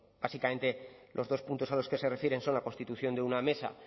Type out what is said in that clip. bueno básicamente los dos puntos a los que se refieren son la constitución de una mesa